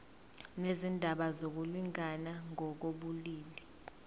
nezindaba zokulingana ngokobulili